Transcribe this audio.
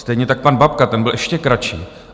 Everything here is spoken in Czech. Stejně tak pan Babka, ten byl ještě kratší.